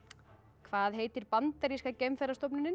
hvað heitir bandaríska